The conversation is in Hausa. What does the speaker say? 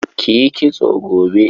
Ki yi kitso gobe.